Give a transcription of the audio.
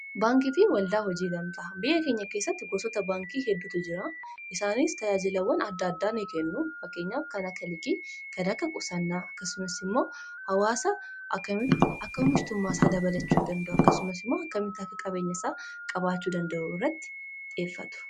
baankii fi waldaa hojii gamtaa biyya keenya keessatti gosoota baankii heddutu jira isaanis tajaajilawwan adda addaa ni kennu. fakkeenyaaf kan akka liqii kana akka qusannaa akkasumas immoo hawaasa akka omishtummaa isaa dabalachuu danda'u akkasumas immoo akkamitti akka qabeenya isaa qabaachuu danda'u irratti xiyyeeffatu